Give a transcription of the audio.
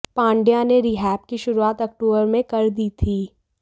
पांड्या ने रीहैब की शुरुआत अक्टूबर में कर दी थी